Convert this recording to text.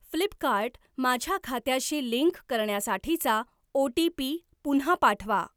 Flipkart माझ्या खात्याशी link करण्यासाठीचा ओ.टी.पी. पुन्हा पाठवा.